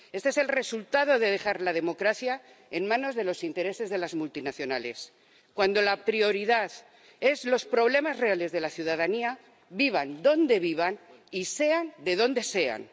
Este es el resultado de dejar la democracia en manos de los intereses de las multinacionales, cuando la prioridad son los problemas reales de la ciudadanía, vivan donde vivan y sean de donde sean.